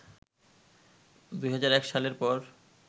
২০০১ সালের পর